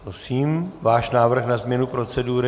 Prosím, váš návrh na změnu procedury.